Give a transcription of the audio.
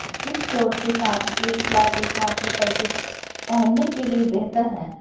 इस चोट के साथ एक फ्लैट एकमात्र पर कुछ पहनने के लिए बेहतर है